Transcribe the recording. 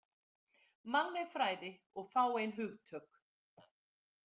„Mannleg fræði og fáein hugtök.“